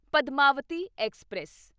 Padmavati express